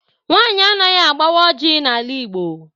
Nwaanyị anaghị agbawa ọjị n'ala Igbo.